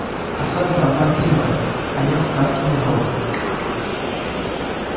особенно вампиров о нём сказки не врут